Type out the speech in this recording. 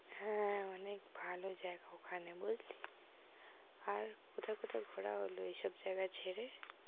হ্যাঁ, অনেক ভালো জায়গা ওখানে বুঝলি আর কোথায় কোথায় ঘোরা হল ঐ সব জায়গা ছেড়ে?